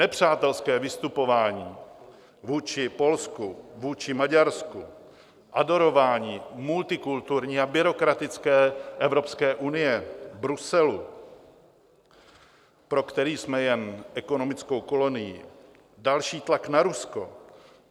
Nepřátelské vystupování vůči Polsku, vůči Maďarsku, adorování multikulturní a byrokratické Evropské unie, Bruselu, pro který jsme jen ekonomickou kolonií, další tlak na Rusko...